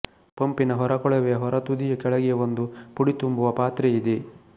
ಪಂಪಿನ ಹೊರಕೊಳವೆಯ ಹೊರತುದಿಯ ಕೆಳಗೆ ಒಂದು ಪುಡಿ ತುಂಬುವ ಪಾತ್ರೆಯಿದೆ